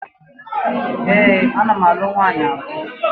Ee, ana m alụ nwaanyị abụọ